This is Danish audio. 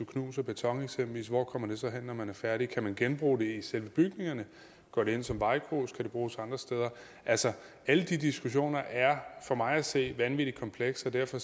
knuser beton hvor kommer det så hen når man er færdig kan man genbruge det i selve bygningerne går det ind som vejgrus kan det bruges andre steder altså alle de diskussioner er for mig at se vanvittig komplekse og derfor